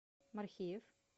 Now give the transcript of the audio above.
мархиев